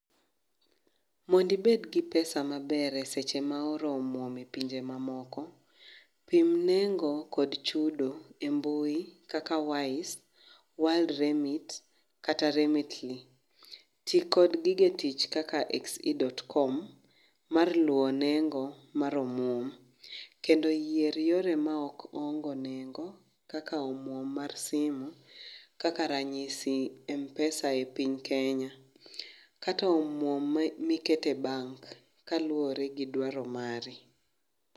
Mondi bed gi pesa maber seche ma oro omuom e pinje mamoko. Pim nengo kod chudo e mbui kaka wise, world remitt kata remitly. Tii kod gige tich kaka XE.com mar luwo nengo mar omuom kendo yier yore maok nengo kaka omuom mar simu kaka ranyisi, Mpesa e piny Kenya kata omuom miketo e bank kaluore gi dwaro mari